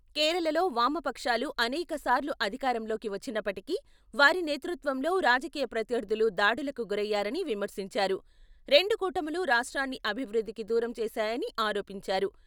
కేరళలో వామపక్షాలు అనేక సార్లు అధికారంలోకి వచ్చినప్పటికీ వారి నేతృత్వంలో రాజకీయ ప్రత్యర్థులు దాడులకు గురయ్యారని విమర్శించారు, రెండు కూటములూ రాష్ట్రాన్ని అభివృద్ధికి దూరం చేశాయని ఆరోపించారు.